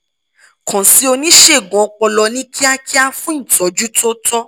kàn sí oníṣègùn ọpọlọ ní kíákíá fún ìtọ́jú tó tọ́